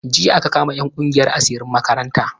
Jiya aka kama 'yan kungiyan asirin makaranta.